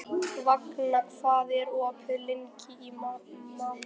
Vagna, hvað er opið lengi í Málinu?